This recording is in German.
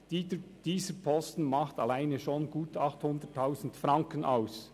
Dieser Posten macht alleine schon gut 800 000 Franken aus.